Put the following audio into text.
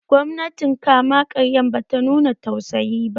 Gwamnatin kama karyan ba ta nuna tausayi ba